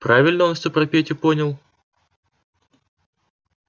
правильно он всё про петю понял